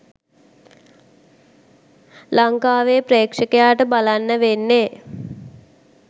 ලංකාවේ ප්‍රෙක්ෂකයාට බලන්න වෙන්නෙ.